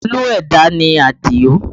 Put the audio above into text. Olú ẹ̀dá ni Adio